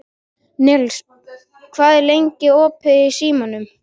Nils, hvað er lengi opið í Símanum?